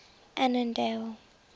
annandale